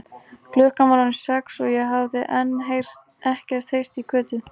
Klukkan var orðin sex og ég hafði enn ekkert heyrt í Kötu.